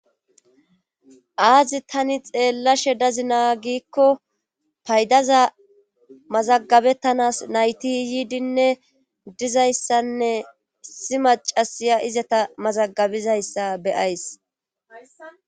Aazi tani xeellashe dazi naa gikko paydaza mazagabettanas nayti iyiidinne dizayssanne isi macasiya izata mazagabizayssa beyays